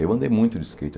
Eu andei muito de skate.